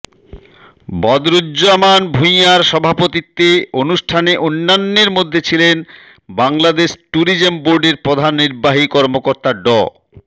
বদরুজ্জামান ভূঁইয়ার সভাপতিত্বে অনুষ্ঠানে অন্যান্যের মধ্যে ছিলেন বাংলাদেশ ট্যুরিজম বোর্ডের প্রধান নির্বাহী কর্মকর্তা ড